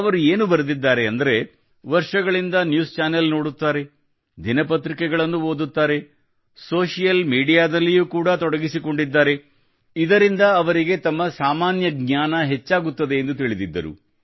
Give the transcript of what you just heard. ಅವರು ಏನು ಬರೆದಿದ್ದಾರೆ ಅಂದ್ರೆ ವರ್ಷಗಳಿಂದ ನ್ಯೂಸ್ ಚಾನೆಲ್ ನೋಡುತ್ತಾರೆ ದಿನಪತ್ರಿಕೆಗಳನ್ನು ಓದುತ್ತಾರೆ ಸೋಶಿಯಲ್ ಮೀಡಿಯಾದಲ್ಲಿ ಯೂ ಕೂಡ ತೊಡಗಿಸಿಕೊಂಡಿದ್ದಾರೆ ಇದರಿಂದ ಅವರಿಗೆ ತಮ್ಮ ಸಾಮಾನ್ಯ ಜ್ಞಾನ ಹೆಚ್ಚಾಗುತ್ತದೆ ಎಂದು ತಿಳಿದಿದ್ದರು